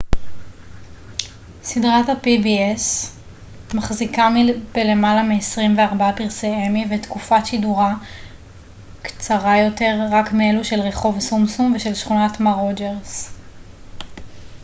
סדרת ה-pbs מחזיקה בלמעלה מעשרים וארבעה פרסי אמי ותקופת שידורה קצרה יותר רק מאלו של רחוב שומשום ושל שכונת מר רוג'רס